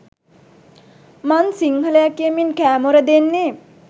මන් සිංහලය කියමින් කෑමොර දෙන්නේ